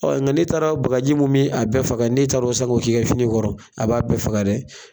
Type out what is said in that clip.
nka n'e taara bagaji mun bɛ a bɛɛ faga n'e taara o san k'o k'i ka fini kɔrɔ a b'a bɛɛ faga dɛ.